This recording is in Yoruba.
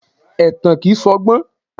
Ẹ̀tàn kìí ṣọgbọ́n.